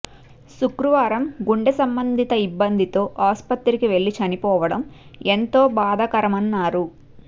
శుక్రవారం గుండె సంబంధిత ఇబ్బందితో ఆసుపత్రికి వెళ్ళి చనిపోవడం ఎంతో బాధాకరమన్నారు